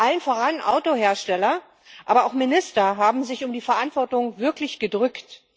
Allen voran Autohersteller, aber auch Minister haben sich um die Verantwortung wirklich gedrückt.